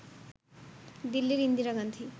দিল্লির ইন্দিরা গান্ধী